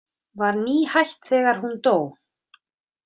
Var nýhætt þegar hún dó.